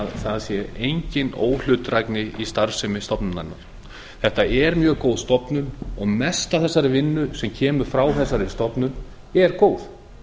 það sé engin óhlutdrægni í starfsemi stofnunarinnar þetta er mjög góð stofnun og mest af þessari vinnu sem kemur frá þessari stofnun er góð